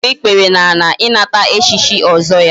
o gburu ikpere n'ala inata echichi ozo ya